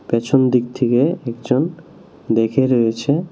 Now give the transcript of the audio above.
পেছন দিক থেকে একজন দেখে রয়েছে।